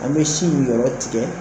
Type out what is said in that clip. An bɛ si in yɔrɔ tigɛ